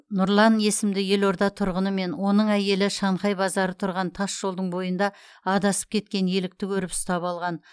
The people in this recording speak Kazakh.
нұрлан есімді елорда тұрғыны мен оның әйелі шанхай базары тұрған тасжолдың бойында адасып кеткен елікті көріп ұстап алған